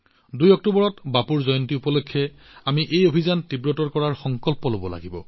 ২ অক্টোবৰত বাপুৰ জন্ম জয়ন্তী উপলক্ষে আমি এই অভিযান আৰু অধিক তীব্ৰ কৰাৰ প্ৰতিশ্ৰুতি গ্ৰহণ কৰিব লাগিব